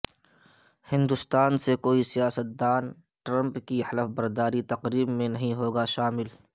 ہندستان سے کوئی سیاستدان ٹرمپ کی حلف برداری تقریب میں نہیں ہوگا شامل